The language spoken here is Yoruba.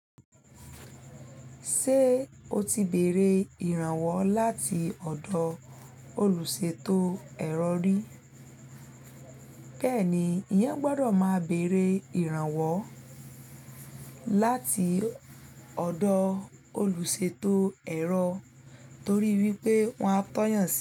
Ṣé o ti bèrè ìrànwọ́ láti ọ̀dọ̀ olùṣètò ẹ̀rọ rí? Kẹ́ẹ̀ni, ìyẹn gbọ́dọ̀ máa bèrè ìrànwọ́ láti ọ̀dọ̀ olùṣètò ẹ̀rọ torí wípé wọ́n á tọ́yàn sí ẹ.